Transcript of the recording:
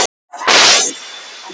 Mikið ónæði er vegna atsins.